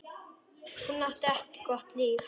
Hún átti ekki gott líf.